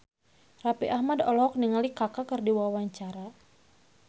Raffi Ahmad olohok ningali Kaka keur diwawancara